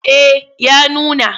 Eh ya nuna.